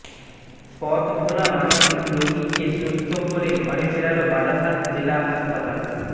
পথভোলা মানসিক রোগীকে সুস্থ করে ঘরে ফেরালো বারাসাত জেলা হাসপাতাল